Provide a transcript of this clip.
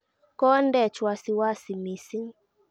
"Kondeech wasiwasi mising".